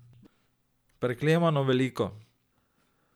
Preklemano veliko.